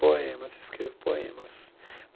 Poemas, escrevo poemas.